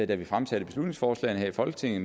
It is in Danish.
da vi fremsatte beslutningsforslagene her i folketinget